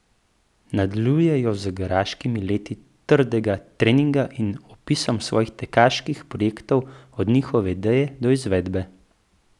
Nadaljuje jo z garaškimi leti trdega treninga in opisom svojih tekaških projektov od njihove ideje do izvedbe.